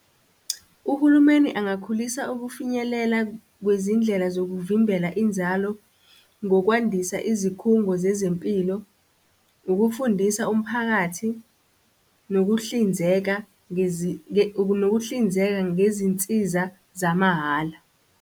Uhulumeni angakhulisa ukufinyelela kwezindlela zokuvimbela inzalo, ngokwandisa izikhungo zezempilo, ukufundisa umphakathi, nokuhlinzeka nokuhlinzeka ngezinsiza zamahhala.